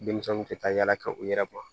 Denmisɛnw tɛ taa yala ka u yɛrɛ bɔ